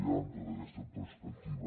hi ha en tota aquesta perspectiva